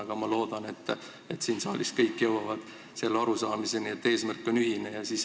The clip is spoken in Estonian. Aga ma loodan, et kõik siin saalis jõuavad arusaamisele, et eesmärk on ühine.